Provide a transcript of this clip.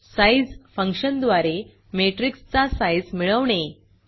size फंक्शनद्वारे मॅट्रिक्सचा size मिळवणे